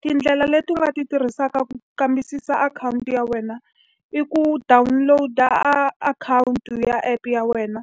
Tindlela leti u nga ti tirhisaka ku kambisisa akhawunti ya wena i ku download-a akhawunti u ya app-e ya wena,